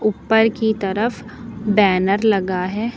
ऊपर कि तरफ बैनर लगा है।